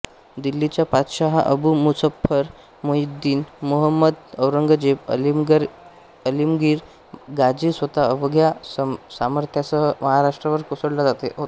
दिल्लीचा पातशहा अबु मुझफ़्फ़र मुहिउद्दीन मुहम्मद औरंगजेब आलमगीर गाझी स्वतः अवघ्या सामर्थ्यासह महाराष्ट्रावर कोसळला होता